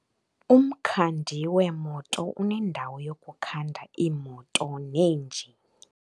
Umkhandi weemoto unendawo yokukhanda iimoto neenjini.